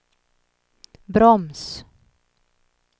broms